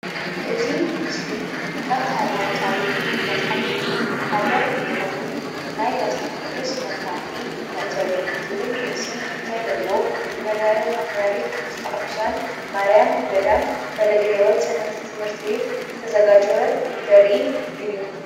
እዚ ምስሊ ካብ ሃይማኖታዊ መፅሓፍቲ ሓደ እንትከውን ናይ መፅሓፍ ቅዱስ መፅናዕቲ መእተዊ ዝብል ርእሲ ዘለዎ ብመንበረ ፓትራሪክ ቅድስተ ቅዱሳን ማርያም ገዳም ፈለገ ሂወት ሰንበት ትምህርቲ ቤት ዝተዘጋጀወ ዘርኢ እዩ፡፡